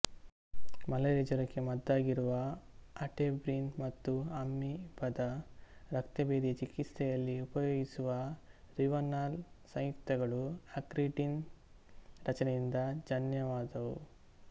malaria ಜ್ವರಕ್ಕೆ ಮದ್ದಾಗಿರುವ atebrin ಮತ್ತು ಅಮೀಬದ ರಕ್ತಭೇದಿಯ ಚಿಕಿತ್ಸೆಯಲ್ಲಿ ಉಪಯೋಗಿಸುವ ರಿವನಾಲ್ ಸಂಯುಕ್ತಗಳು ಅಕ್ರಿಡಿನ್ ರಚನೆಯಿಂದ ಜನ್ಯವಾದವು